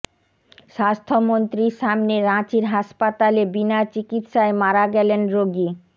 স্বাস্থ্যমন্ত্রীর সামনে রাঁচির হাসপাতালে বিনা চিকিৎসায় মারা গেলেন রোগী